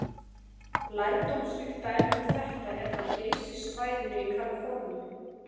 Lærdómsríkt dæmi um þetta er frá Geysissvæðinu í Kaliforníu.